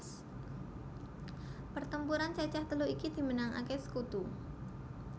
Pertemuran cacah telu iki dimenangake sekutu